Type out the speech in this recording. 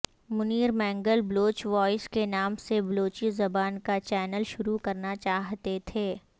Munir Mengal Baloch voice کے نام سے بلوچی زبان کا چینل شروع کرنا چاہتے تھے